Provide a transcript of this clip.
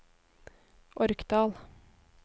Orkdal